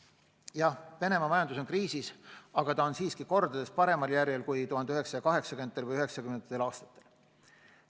Jah, Venemaa majandus on kriisis, aga ta on siiski kordades paremal järjel kui 1980.–1990. aastatel.